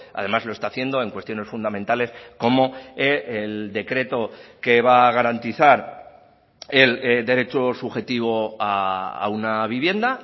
además lo está haciendo en cuestiones fundamentales como el decreto que va a garantizar el derecho subjetivo a una vivienda